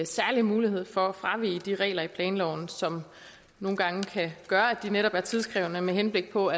særlig mulighed for at fravige de regler i planloven som nogle gange kan gøre at de netop er tidkrævende med henblik på